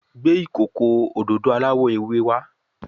Gbé ìkókó òdodo aláwò ewé wá.